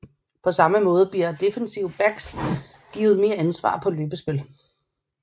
På samme måde bliver defensive backs givet mere ansvar på løbespil